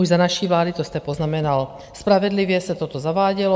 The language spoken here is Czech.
Už za naší vlády, to jste poznamenal spravedlivě, se toto zavádělo.